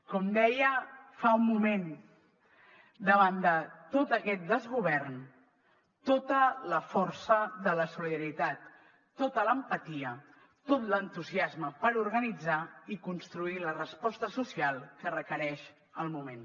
com deia fa un moment davant de tot aquest desgovern tota la força de la solidaritat tota l’empatia tot l’entusiasme per organitzar i construir la resposta social que requereix el moment